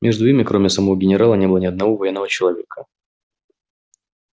между ими кроме самого генерала не было ни одного военного человека